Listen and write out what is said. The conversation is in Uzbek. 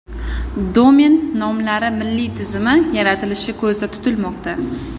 Domen nomlari milliy tizimi yaratilishi ko‘zda tutilmoqda.